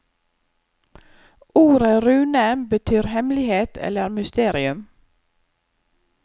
Ordet rune betyr hemmelighet eller mysterium.